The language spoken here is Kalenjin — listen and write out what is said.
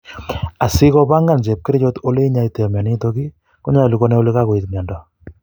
Asikopangan chepkerichot ele inyoitoi myonitok konyolu konai ele kakoit myondo